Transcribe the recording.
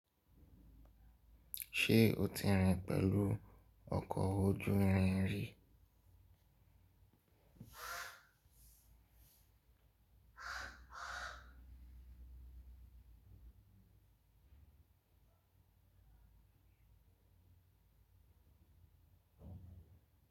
Ṣe o ti rin pẹ̀lú ọkọ̀ ojú irin rí?